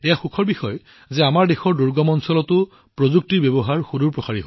আৰু এইটো আনন্দৰ বিষয় যে আমাৰ দেশৰ দূৰৱৰ্তী অঞ্চলতো প্ৰযুক্তিৰ ইমান ভাল ব্যৱহাৰ কৰা হৈছে